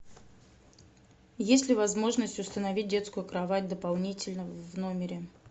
есть ли возможность установить детскую кровать дополнительно в номере